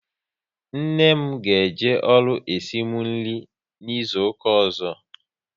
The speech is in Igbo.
Nne m ga eje ọrụ esimu nri n'izuka ọzọ